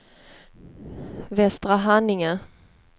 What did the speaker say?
Västerhaninge